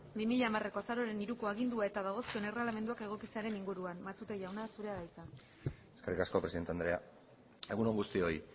bi mila hamareko azaroaren hiruko agindu eta dagozkion erregelamenduak egokitzearen inguruan matute jauna zurea da hitza eskerrik asko presidente andrea egun on guztioi